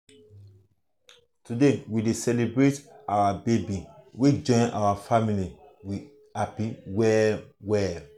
today we dey celebrate new baby wey join our family we happy well.